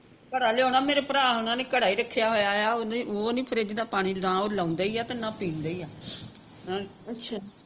ਘੜਾ ਲਿਆਉਣਾ ਮੇਰੇ ਭਰਾ ਹੋਣਾ ਨੇ ਘੜਾ ਹੀ ਰਖਿਆ ਹੋਇਆ ਆ ਓਹਨੇ ਉਹ ਨਹੀਂ ਫਰਿਜ ਦਾ ਪਾਣੀ ਨਾ ਉਹ ਲਾਉਂਦਾ ਈ ਅਤੇ ਨਾ ਪਿੰਦਾ ਈ ਆ ਅਹ